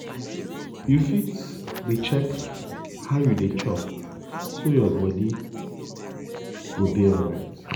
you fit dey check how you dey chop so your body go dey alright.